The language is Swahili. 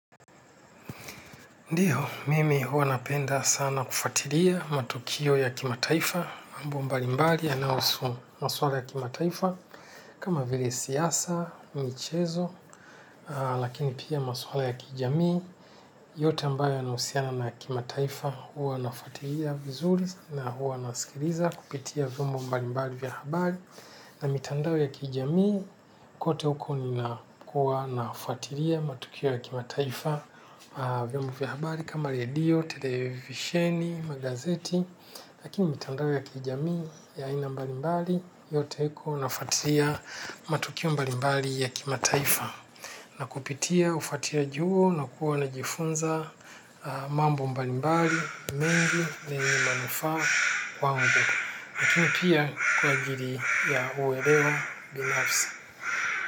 Ndiyo, mimi hua napenda sana kufatiria matukio ya kimataifa, mambo mbalimbali, yanawusu maswala ya kimataifa, kama vile siyasa, michezo, lakini pia maswala ya kijamii, yote ambayo yanahusiana na kimataifa huwa nafuatilia vizuri na huwa nasikiliza kupitia vyombo mbalimbali vya habari, na mitandao ya kijamii, kote huko nina kuwa nafuatilia matukio ya kimataifa vyombo vya habari, kama redio, televisheni, magazeti, lakini mtandao ya kijamii ya aina mbalimbali yote iko nafuatia matukio mbalimbali ya kimataifa na kupitia ufuatiliaji huo na kuwa najifunza mambo mbalimbali mengi ni yenye manufaa kwangu. Nakini pia kwaajili ya kuwelewa binafsi.